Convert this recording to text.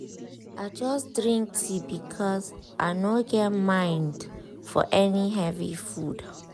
i just drink tea because i no get mind for any heavy food.